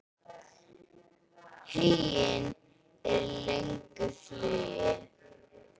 Huginn er í löngu flugi.